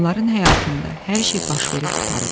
Onların həyatında hər şey baş verib qurtarıb.